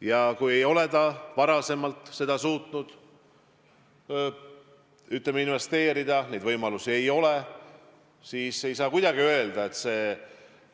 Ja kui inimene ei ole varem suutnud, ütleme, sellesse investeerida, neid võimalusi pole olnud, siis ei saa kuidagi öelda, et see